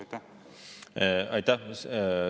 Aitäh!